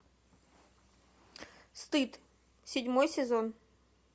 стыд седьмой сезон